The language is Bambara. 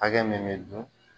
Hakɛ min bɛ dun.